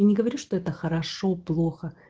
я не говорю что это хорошо плохо